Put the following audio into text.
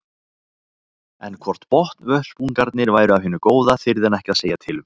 En hvort botnvörpungarnir væru af hinu góða þyrði hann ekki að segja til um.